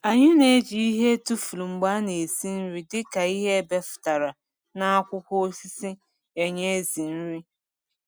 anyị n’eji ịhe etufuru mgbe ana esi nri dịka ịhe ebefụtara na akwụkwọ osisi enye ểzỉ nri